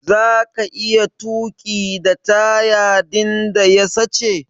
Zaka iya tuki da taya din da ya sache?